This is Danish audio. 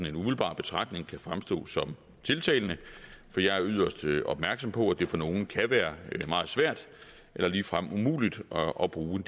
en umiddelbar betragtning kan fremstå som tiltalende for jeg er yderst opmærksom på at det for nogle kan være meget svært eller ligefrem umuligt at bruge